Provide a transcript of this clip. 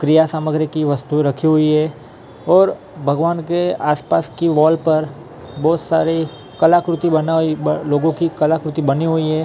क्रिया सामग्री की वस्तुएं रखी हुई हैं और भगवान के आसपास की वॉल पर बहुत सारे कलाकृति बनाई लोगों की कलाकृति बनी हुई हैं ।